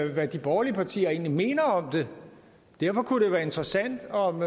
hvad de borgerlige partier egentlig mener om det derfor kunne det være interessant om